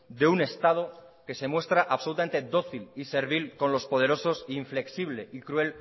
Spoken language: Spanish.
de un estado que se muestra absolutamente dócil y servil con los poderosos e inflexible y cruel